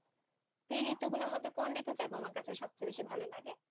এই ঋতু গুলোর মধ্যে কোন ঋতুটা তোমার সবথেকে বেশি ভালো লাগে?